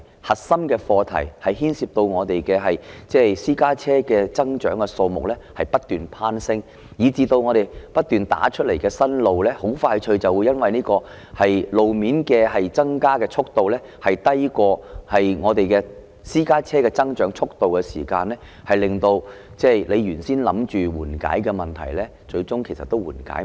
核心的課題，牽涉到本港私家車增長的數目不斷攀升，以致不斷興建的新路很快就會因為路面增加的速度低於私家車增長的速度，令原先打算緩解的問題最終無法緩解。